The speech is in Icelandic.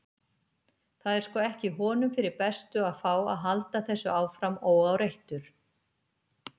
Það er sko ekki honum fyrir bestu að fá að halda þessu áfram óáreittur.